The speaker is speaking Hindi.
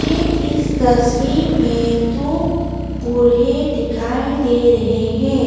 मुझे इस तस्वीर में दो बूढ़े दिखाई दे रहे है।